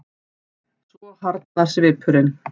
Svo harðnar svipurinn.